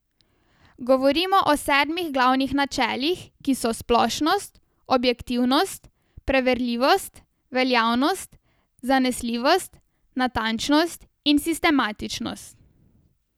Govorim o sedmih glavnih načelih, ki so splošnost, objektivnost, preverljivost, veljavnost, zanesljivost, natančnost in sistematičnost.